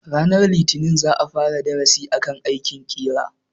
Ranar litinin za a fara darasin akan aikin ƙera.